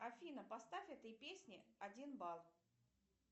афина поставь этой песне один балл